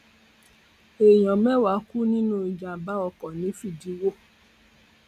èèyàn mẹwàá kú nínú ìjàmbá ọkọ ní fídíwò